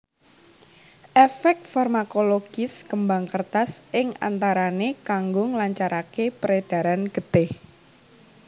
Efek farmakologis kembang kertas ing antarane kanggo nglancarake peredaran getih